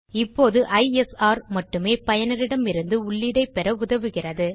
இப்போது ஐஎஸ்ஆர் மட்டுமே பயனரிடமிருந்து உள்ளீடைப் பெற உதவுகிறது